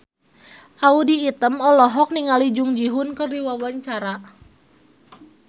Audy Item olohok ningali Jung Ji Hoon keur diwawancara